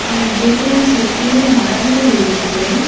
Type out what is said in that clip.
அந்த பில்டிங் சுத்திலு மரங்கள் இருக்கு.